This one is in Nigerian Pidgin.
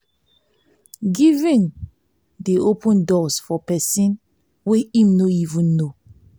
giving dey open doors for pesin wey im no even know